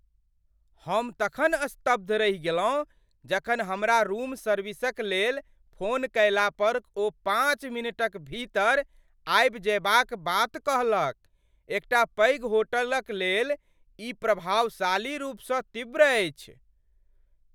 हम तखन स्तब्ध रहि गेलहुँ जखन हमरा रूम सर्विसक लेल फोन कयला पर ओ पाँच मिनटक भीतर आबि जयबाक बात कहलक। एकटा पैघ होटलक लेल ई प्रभावशाली रूपसँ तीव्र अछि!